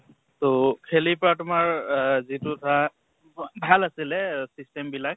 ত খেলি প্ৰা তোমাৰ এহ যিটো ধৰা ভাল আছিলে system বিলাক